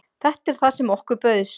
Þetta er það sem okkur bauðst